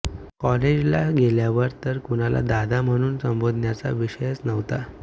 कॉलेजला गेल्यावर तर कुणाला दादा म्हणून संबोधन्याचा विषयच नव्हता